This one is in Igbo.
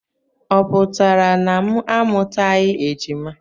Ọ pụtara na m amụtaghị ejima?